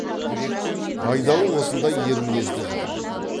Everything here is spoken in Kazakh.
байдалы осындай ер мінезді жақтайтын